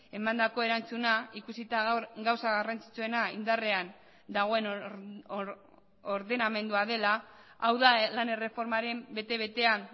emandako erantzuna ikusita gaur gauza garrantzitsuena indarrean dagoen ordenamendua dela hau da lan erreformaren bete betean